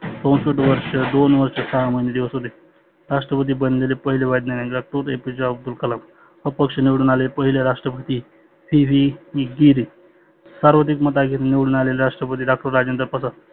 चौसष्ठ वर्ष दोन वर्ष सहा महिने दिवस होते. राष्ट्रपती बनलेले पहिले वैज्ञानीक doctor APJ अब्दुल कलाम. अपक्ष निवडून आलेले पहिले राष्ट्रपती PV ईग्गीर. सर्वाधीक मताने निवडुन आलेले राष्ट्रपती Doctor राजेंद्र प्रसाद.